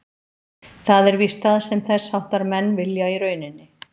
Það er víst það sem þess háttar menn vilja í rauninni.